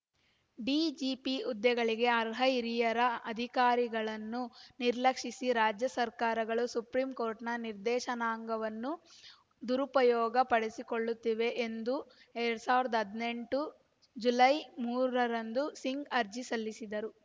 DGP ಹುದ್ದೆಗಳಿಗೆ ಅರ್ಹ ಹಿರಿಯ ಅಧಿಕಾರಿಗಳನ್ನು ನಿರ್ಲಕ್ಷಿಸಿ ರಾಜ್ಯ ಸರ್ಕಾರಗಳು ಸುಪ್ರೀಂಕೋರ್ಟಿನ ನಿರ್ದೇಶನವನ್ನು ದುರುಪಯೋಗ ಪಡಿಸಿಕೊಳ್ಳುತ್ತಿವೆ ಎಂದು ಎರಡ್ ಸಾವಿರದ ಹದಿನೆಂಟು ಜುಲೈ ಮೂರ ರಂದು ಸಿಂಗ್ ಅರ್ಜಿ ಸಲ್ಲಿಸಿದ್ದರು